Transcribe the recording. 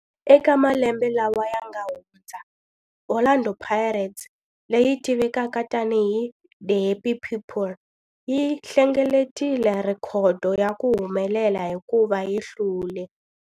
Eka malembe lawa yanga hundza, Orlando Pirates, leyi tivekaka tani hi 'The Happy People', yi hlengeletile rhekhodo ya ku humelela hikuva yi hlule.